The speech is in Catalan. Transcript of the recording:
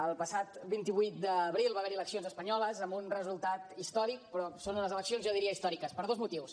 el passat vint vuit d’abril va haver hi eleccions espanyoles amb un resultat històric però són unes eleccions jo diria històriques per dos motius